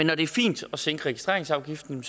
når det er fint at sænke registreringsafgiften